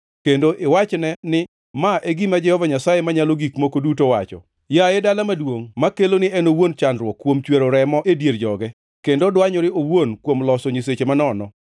kendo iwachne ni: ‘Ma e gima Jehova Nyasaye Manyalo Gik Moko Duto wacho: Yaye dala maduongʼ makelo ni en owuon chandruok kuom chwero remo e dier joge, kendo dwanyore owuon kuom loso nyiseche manono,